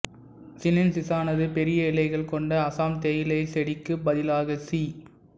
சினென்சிசானது பெரிய இலைகள் கொண்ட அசாம் தேயிலைச் செடிக்குப் பதிலாக சி